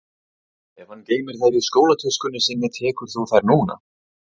Ef hann geymir þær í skólatöskunni sinni tekur þú þær núna